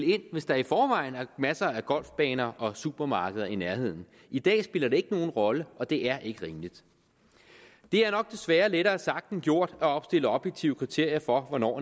ind hvis der i forvejen er masser af golfbaner og supermarkeder i nærheden i dag spiller det ikke nogen rolle og det er ikke rimeligt det er nok desværre lettere sagt end gjort at opstille objektive kriterier for hvornår